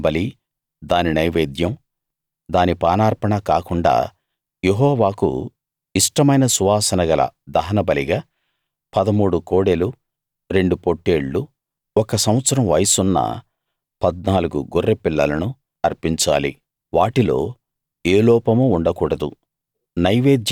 దహనబలి దాని నైవేద్యం దాని పానార్పణ కాకుండా యెహోవాకు ఇష్టమైన సువాసనగల దహనబలిగా 13 కోడెలూ రెండు పొట్టేళ్ళు ఒక సంవత్సరం వయసున్న 14 గొర్రె పిల్లలను అర్పించాలి వాటిలో ఏ లోపమూ ఉండకూడదు